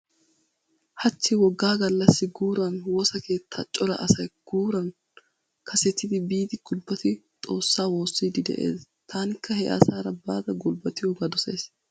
Hachchi woggaa gallassi guuran woosa keetta cora asay guuran kasetidi biidi gulbbati xoossa woossiiddi de'ees. Taanikka he asaara baada gulbbatiyoogaa dosays.